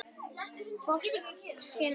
Fólkinu sínu.